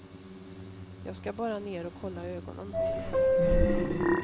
Jag ska bara ner och kolla ögonen.